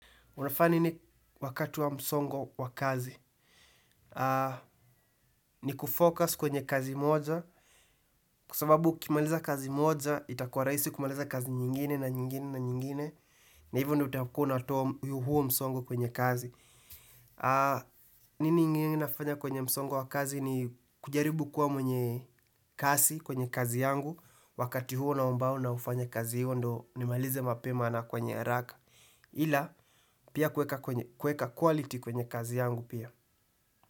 Unafanya nini wakati wa msongo wa kazi? Ni kufocus kwenye kazi moja. Kwa sababu ukimaliza kazi moja, itakua rahisi kumaliza kazi nyingine na nyingine na nyingine. Na hivyo ndio utakua unatoa huo msongo kwenye kazi. Nini ingini inafanya kwenye msongo wa kazi ni kujaribu kuwa mwenye kazi kwenye kazi yangu. Wakati huo na mbao na ufanya kazi hiyo ndio nimalize mapema na kwenye haraka. Ila, pia kuweka quality kwenye kazi yangu pia.